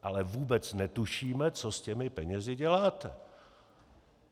Ale vůbec netušíme, co s těmi penězi děláte.